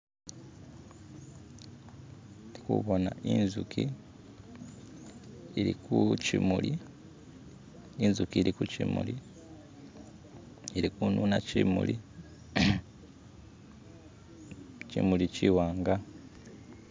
Ndikubona inzuki ili kushimuli, inzuki ili kushimuli ilikununa shimuli, shimuli shiwanga